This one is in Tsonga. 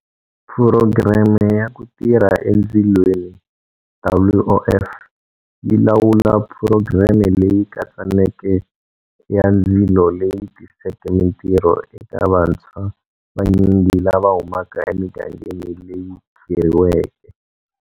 Phurogireme ya Ku Tirha Endzilweni, WOF, yi lawula phurogireme leyi katsaneke ya ndzilo leyi tiseke mitirho eka vantshwa vanyingi lava humaka emigangeni leyi khirhiweke.